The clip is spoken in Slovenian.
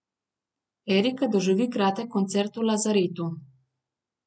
Erika doživi kratek koncert v lazaretu.